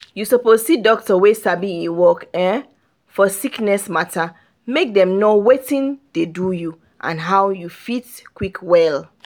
you suppose see doctor wey sabi e work for sickness matter make dem know watin dey do you and how you fit quick well.